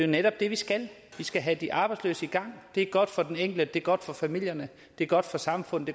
netop det vi skal vi skal have de arbejdsløse i gang det er godt for den enkelte det er godt for familierne det er godt for samfundet